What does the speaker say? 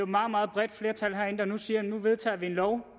meget meget bredt flertal herinde der siger at nu vedtager vi en lov